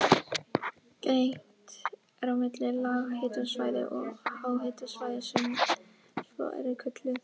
Greint er á milli lághitasvæða og háhitasvæða sem svo eru kölluð.